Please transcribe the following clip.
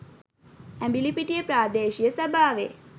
ඇඹිලිපිටිය ප්‍රාදේශීය සභාවේ